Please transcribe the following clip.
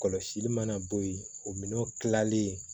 Kɔlɔsili mana bɔ yen o minɛnw kilalen